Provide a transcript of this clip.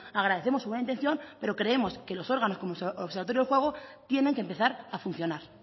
agradecemos su buena intención pero creemos que los órganos como el observatorio del juego tiene que empezar a funcionar